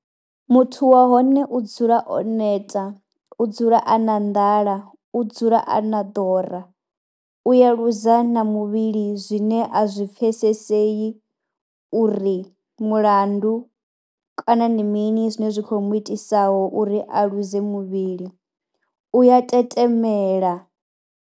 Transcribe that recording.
Muthu wa hone u dzula o neta, u dzula a na nḓala, u dzula a na ḓora, u ya luza na muvhili zwine a zwi pfhesesei uri mulandu kana ndi mini zwine zwi khou mu itisaho uri a ḽuze muvhili, u ya tetemela.